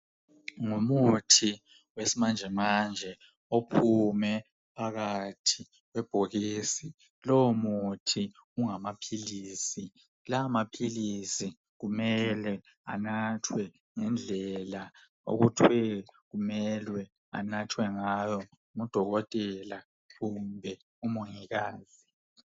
Ngumuthi wesi manje manje ophume phakathi kwebhokisi lowo muthi ungamaphilisi lamaphilisi kumele anathwe ngendlela okuthwe kumelwe anathwe ngayo ngudokotela kumbe umongikazi.